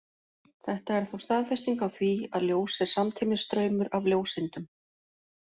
Þetta er þá staðfesting á því, að ljós er samtímis straumur af ljóseindum.